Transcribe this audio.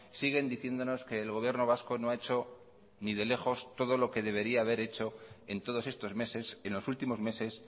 siguen diciéndonos que el gobierno vasco no ha hecho ni de lejos todo lo que debería de haber hecho en todos estos meses en los últimos meses